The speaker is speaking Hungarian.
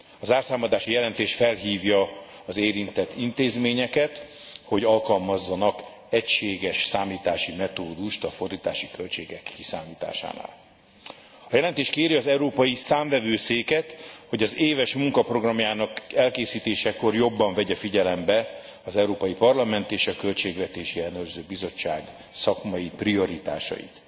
A zárszámadási jelentés felhívja az érintett intézményeket, hogy alkalmazzanak egységes számítási metódust a fordítási költségek kiszámításánál. A jelentés kéri az Európai Számvevőszéket, hogy az éves munkaprogramjának elkészítésekor jobban vegye figyelembe az Európai Parlament és a Költségvetési Ellenőrző Bizottság szakmai prioritásait.